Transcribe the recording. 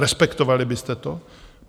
Respektovali byste to?